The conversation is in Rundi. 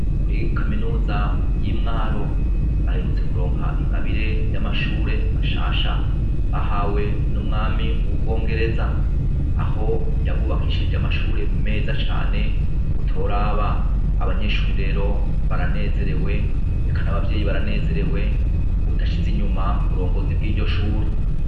Kuri kaminuza yimwaro baherutse kuronka ingabire yamashure mashasha bahawe numwami wo mubwongereza aho yabubakishirije amashure meza cane utoraba abanyeshure rero baranezerewe eka nabavyeyi baranezerewe uwutashize inyuma uburongozi bwiryo shure